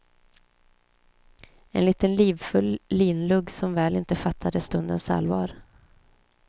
En liten livfull linlugg som väl inte fattade stundens allvar.